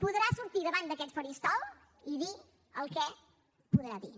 podrà sortir davant d’aquest faristol i dir el que podrà dir